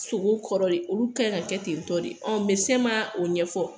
Piseke, kɔrɔlen olu ka kan ka kɛ ten tɔ ,ɔ mɛdɛsɛn ma o ɲɛfɔ.